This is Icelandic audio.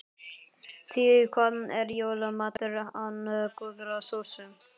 Því hvað er jólamatur án góðrar sósu?